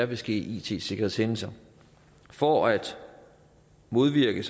vil ske it sikkerhedshændelser for at modvirke